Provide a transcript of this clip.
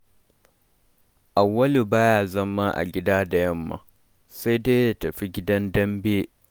Auwalu baya zama a gida da yamma, sai dai ya tafi gidan dambe.